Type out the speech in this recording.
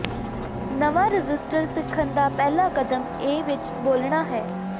ਨਵਾਂ ਰਜਿਸਟਰ ਸਿੱਖਣ ਦਾ ਪਹਿਲਾ ਕਦਮ ਇਸ ਵਿੱਚ ਬੋਲਣਾ ਹੈ